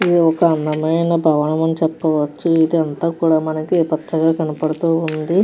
ఇది ఒక అందమైన భవనం అని చెప్పవచ్చు. ఇది అంతా కూడా మనకి పచ్చగా కనబడుతూ ఉంది.